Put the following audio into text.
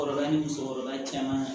Kɔrɔla ni muso kɔrɔba caman